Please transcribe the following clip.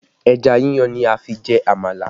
Ẹja yíyan ni a fi jẹ amala